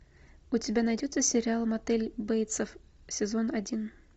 у тебя найдется сериал мотель бейтсов сезон один